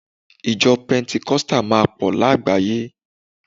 ijo pentikosti ma po ni àgbáyé